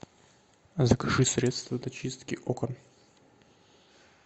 закажи средство для чистки окон